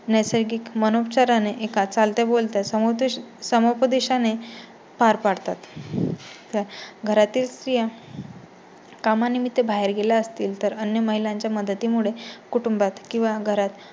नैसर्गीक मनोपचाराने एका चालत्या -बोलत्या समुपदेश समुपदेशाने पार पाडतात. घरातील स्रीया कामानिमित्त बाहेर गेल्या असतील तर अन्य महिलांच्या मदती मुळे कुटुंबात किंवा घरात